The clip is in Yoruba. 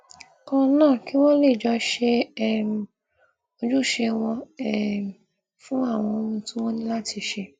kan náà kí wón lè jọ ṣe um ojúṣe wọn um fún àwọn ohun tí wọn ní láti ṣe